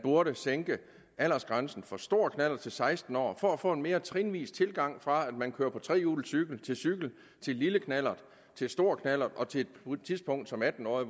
burde sænke aldersgrænsen for stor knallert til seksten år for at få en mere trinvis tilgang fra at man kører på trehjulet cykel til cykel til lille knallert til stor knallert og til på et tidspunkt som atten årig